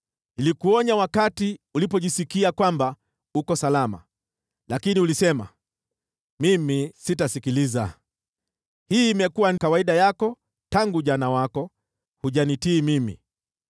Nilikuonya wakati ulipojisikia kwamba uko salama, lakini ulisema, ‘Mimi sitasikiliza!’ Hii imekuwa kawaida yako tangu ujana wako; hujanitii mimi.